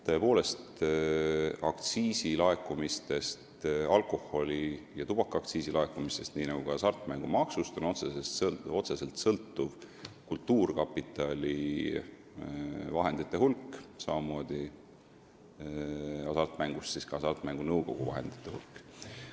Tõepoolest, alkoholi- ja tubakaaktsiisi laekumistest ja hasartmängumaksust sõltub otseselt kultuurkapitali vahendite hulk, samamoodi nagu hasartmängumaksust Hasartmängumaksu Nõukogu vahendite hulk.